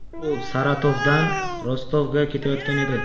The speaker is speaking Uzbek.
U Saratovdan Rostovga ketayotgan edi.